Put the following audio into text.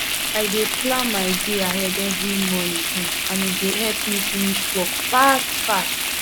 i dey plan my day ahead every morning um and e dey help me finish work fast fast